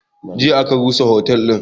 Jiya aka rusa otel din